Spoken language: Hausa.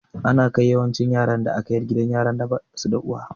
Ana kai yawancin yaran da aka yar gidan yaran da basu da uwa